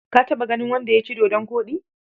Ka taɓa ganin wanda ya ci dodon koɗi?